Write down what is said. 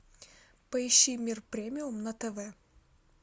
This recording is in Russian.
поищи мир премиум на тв